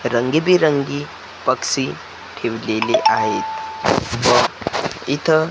रंगीबेरंगी पक्षी ठेवलेले आहेत व इथ--